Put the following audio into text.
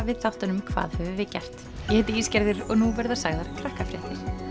við þáttunum hvað höfum við gert ég heiti og nú verða sagðar